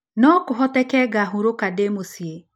No kũhoteke ngahurũka ndĩ mũciĩ.